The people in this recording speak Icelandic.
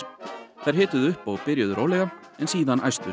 þær hituðu upp og byrjuðu rólega en síðan